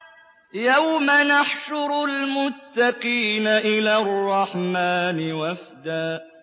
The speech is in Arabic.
يَوْمَ نَحْشُرُ الْمُتَّقِينَ إِلَى الرَّحْمَٰنِ وَفْدًا